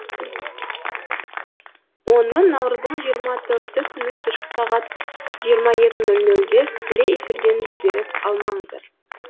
оны наурыздың жиырма төрті күні кешкі сағат жиырма екі нөл нөлде тікелей эфирден жіберіп алмаңыздар